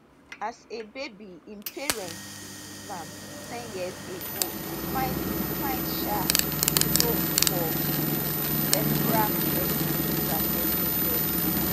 as a baby im parents bin leave am ten years ago e find e find um a home for di cerebral palsy centre for lagos